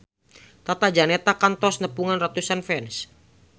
Tata Janeta kantos nepungan ratusan fans